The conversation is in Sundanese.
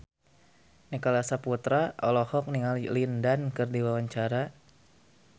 Nicholas Saputra olohok ningali Lin Dan keur diwawancara